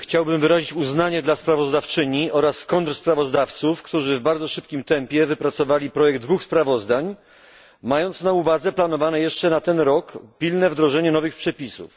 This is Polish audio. Chciałbym wyrazić uznanie dla sprawozdawczyni oraz kontrsprawozdawców, którzy w bardzo szybkim tempie wypracowali projekt dwóch sprawozdań, mając na uwadze planowane jeszcze na ten rok pilne wdrożenie nowych przepisów.